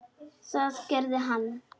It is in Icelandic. Það gerði hann.